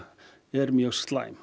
er mjög slæm